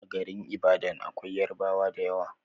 A garin ibadan akwai yarabwa dayawa